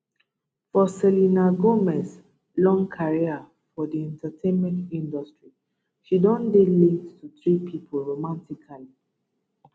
for selena gomez long career for di entertainment industry she don dey linked to three pipo romantically